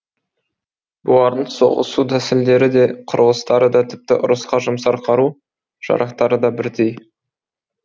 бұлардың соғысу тәсілдері де құрылыстары да тіпті ұрысқа жұмсар қару жарақтары да бірдей